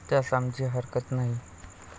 त्यास आमची हरकत नाही.